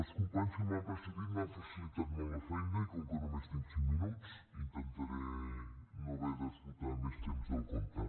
els companys que m’han precedit m’han facilitat molt la feina i com que només tinc cinc minuts intentaré no haver d’esgotar més temps del compte